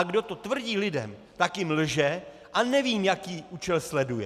A kdo to tvrdí lidem, tak jim lže a nevím, jaký účel sleduje.